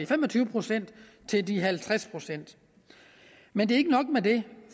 fem og tyve procent til de halvtreds procent men det er ikke nok med det